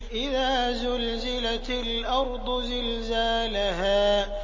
إِذَا زُلْزِلَتِ الْأَرْضُ زِلْزَالَهَا